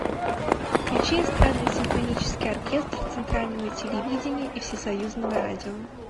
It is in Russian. включи эстрадно симфонический оркестр центрального телевидения и всесоюзного радио